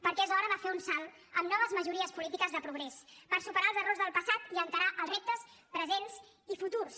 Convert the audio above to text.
perquè és hora de fer un salt amb noves majories polítiques de progrés per superar els errors del passat i encarar els reptes presents i futurs